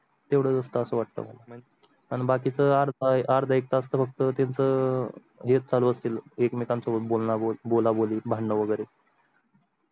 तेवडे तास वाटत मला म्हणज अन बाकीच्या अर्ध्या एक तास फक्त त्यांच हेच चालू असतील एकमेकांच्या सबोत बोलणा बोल बोलणा बोली भडंण वगेरे